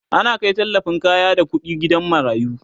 ana Kai tallafin kaya da ƙuɗi gidan marayu